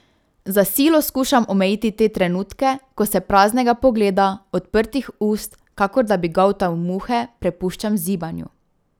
Za silo skušam omejiti te trenutke, ko se praznega pogleda, odprtih ust, kakor da bi goltal muhe, prepuščam zibanju.